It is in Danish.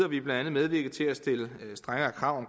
vi blandt andet medvirket til at stille strengere krav